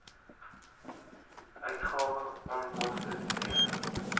uitgawes onkoste t